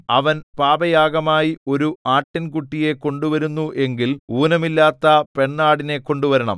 അവൻ പാപയാഗമായി ഒരു ആട്ടിൻകുട്ടിയെ കൊണ്ടുവരുന്നു എങ്കിൽ ഊനമില്ലാത്ത പെണ്ണാടിനെ കൊണ്ടുവരണം